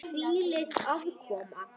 Hvílík aðkoma!